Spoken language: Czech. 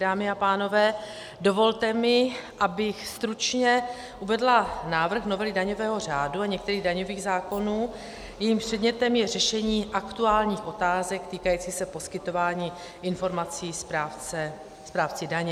Dámy a pánové, dovolte mi, abych stručně uvedla návrh novely daňového řádu a některých daňových zákonů, jejímž předmětem je řešení aktuálních otázek týkajících se poskytování informací správci daně.